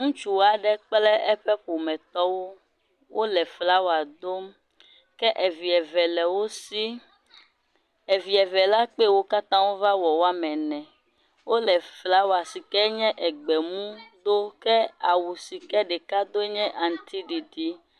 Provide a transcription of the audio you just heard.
Ŋutsu aɖe kple eƒe ƒometɔwo wole flawa dom ke evi eve le wo si evi eve la kpe wo katã wova wɔ woame ene wole flawa si ke nye egbe mu dom ke awu si ke ɖeka do nye awu aŋutiɖiɖi.